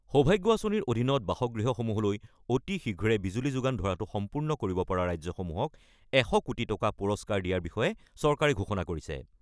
সৌভাগ্য আঁচনিৰ অধীনত বাসগৃহসমূহলৈ অতি শীঘ্ৰে বিজুলী যোগান ধৰাটো সম্পূৰ্ণ কৰিব পৰা ৰাজ্যসমূহক ১০০ কোটি টকা পুৰস্কাৰ দিয়াৰ বিষয়ে চৰকাৰে ঘোষণা কৰিছে।